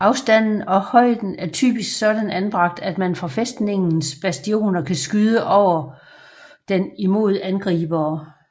Afstanden og højden er typisk sådan anbragt at man fra fæstningens bastioner kan skyde over den imod angribere